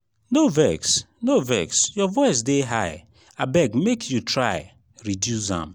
no vex no vex your voice dey high abeg make you try reduce am.